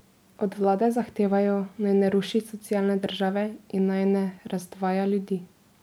Od vlade zahtevajo, naj ne ruši socialne države in naj ne razdvaja ljudi.